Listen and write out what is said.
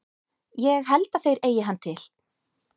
Ég held að þeir eigi hann til.